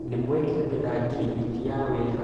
Nĩ mwekĩranĩra ngirimiti ya wĩra